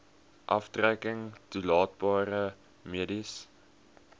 aftrekking toelaatbare mediese